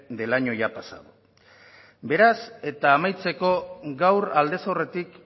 del año ya pasado beraz eta amaitzeko gaur aldez aurretik